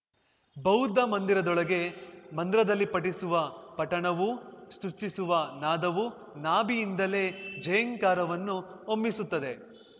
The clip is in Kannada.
ಬೌದ್ಧ ಮಂದಿರದೊಳಗೆ ಮಂದ್ರದಲ್ಲಿ ಪಠಿಸುವ ಪಠಣವು ಸೃಷ್ಟಿಸುವ ನಾದವು ನಾಭಿಯಿಂದಲೇ ಝೇಂಕಾರವನ್ನು ಹೊಮ್ಮಿಸುತ್ತದೆ